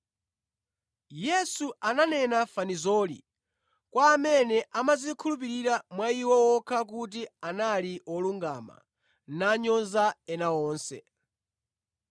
Yesu ananena fanizoli kwa amene amadzikhulupirira mwa iwo okha kuti anali wolungama nanyoza ena onse.